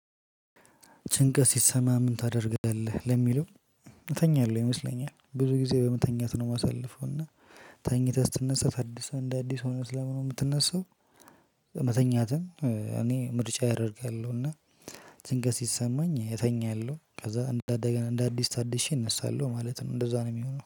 ጭንቀት ሲሰማምን ታደርጋለህ ለሚለው? ተኛለሁ ይመስለኛል ብዙ ጊዜ በመተኛት ነው የማሳልፈው እና ተኝተህ ስትነሳ ታድሰህ እንደ አዲስ ሆነህ ስለሆነ የምትነሳው። መተኛትን እኔ ምርጫ አደርጋለሁ እና። ድንገት ሲሰማኝ እተኛለሁ ከዛ እንደገና እንደ አዲስ ታድሼ እነሳለሁ ማለት ነው። እንደዛ ነው የሚሆነው